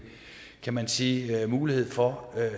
kan man sige mulighed for